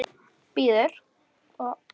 Er allri orðið heitt.